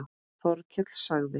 Þórkell sagði